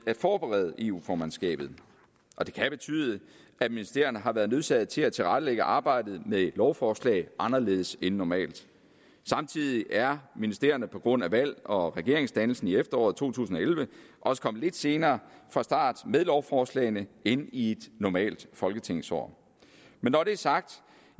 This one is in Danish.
forberede eu formandskabet det kan betyde at ministerierne har været nødsaget til at tilrettelægge arbejdet med lovforslag anderledes end normalt samtidig er ministerierne på grund af valget og regeringsdannelsen i efteråret to tusind og elleve også kommet lidt senere fra start med lovforslagene end i et normalt folketingsår men når det er sagt